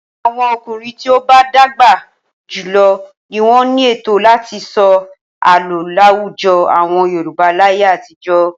Àwọn ọkùnrin tí ó bá dàgbà jù lọ ni wọ́n ní ẹ̀tọ́ láti sọ àlọ́ láwùjọ àwọn Yorùbá láyé àtijọ́.